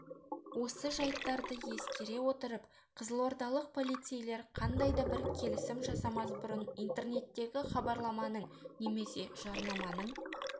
осы жайттарды ескере отырып қызылордалық полицейлер қандай да бір келісім жасамас бұрын интернеттегі хабарламаның немесе жарнаманың